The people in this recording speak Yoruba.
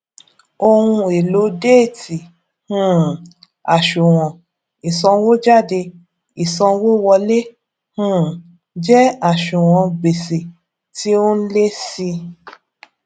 ohùn èlò déétì um àṣùwòn ìsànwójáde ìsanwówọlé um jẹ àṣùwòn gbèsè tí ó ń lé si